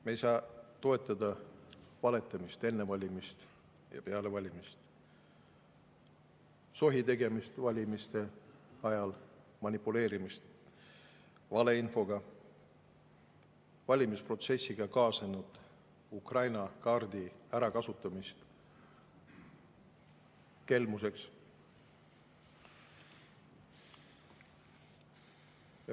Me ei saa toetada valetamist enne valimisi ja peale valimisi, sohitegemist valimiste ajal, manipuleerimist valeinfoga, valimisprotsessiga kaasnenud Ukraina kaardi kasutamist kelmuseks.